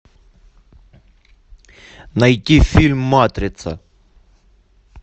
найти фильм матрица